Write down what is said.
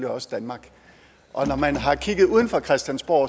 også danmark når man har kigget uden for christiansborg